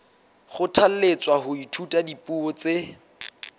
kgothalletswa ho ithuta dipuo tse